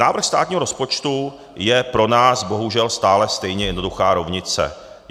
Návrh státního rozpočtu je pro nás bohužel stále stejně jednoduchá rovnice.